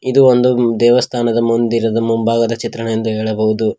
ಇದು ಒಂದು ದೇವಸ್ಥಾನದ ಮುಂದಿರದ ಮುಂಭಾಗದ ಚಿತ್ರಣವೆಂದು ಹೇಳಬಹುದು.